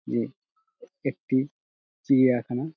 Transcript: যে একটি চিড়িয়াখানা |